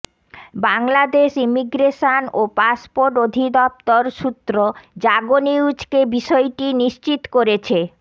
Bangladesh immigration ও passport অধিদফতর সূত্র জাগো নিউজকে বিষয়টি নিশ্চিত করেছে